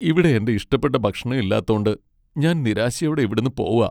ഇവിടെ എന്റെ ഇഷ്ടപ്പെട്ട ഭക്ഷണം ഇല്ലാത്തോണ്ട് ഞാൻ നിരാശയോടെ ഇവിടുന്നു പോവാ.